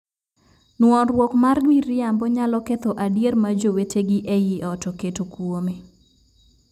Nuoruok mar miriambo nyalo ketho adier ma jowetegi ei ot oketo kuome.